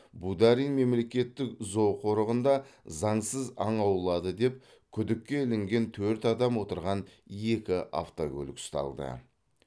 бударин мемлекеттік зооқорығында заңсыз аң аулады деп күдікке ілінген төрт адам отырған екі автокөлік ұсталды